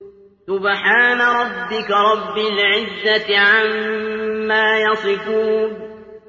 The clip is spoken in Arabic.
سُبْحَانَ رَبِّكَ رَبِّ الْعِزَّةِ عَمَّا يَصِفُونَ